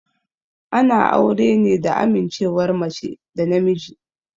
Ana aure ne da amincewar mace da namiji.